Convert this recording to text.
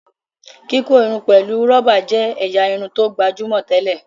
kíkọ Irun pẹlú roba jé ẹ̀yà Irun tó gbajúmọ̀ tẹlẹ.